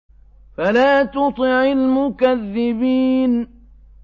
فَلَا تُطِعِ الْمُكَذِّبِينَ